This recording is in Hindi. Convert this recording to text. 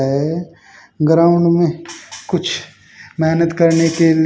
ग्राउंड में कुछ मेहनत करने के लि--